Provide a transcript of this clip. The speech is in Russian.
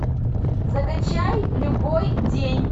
закачай любой день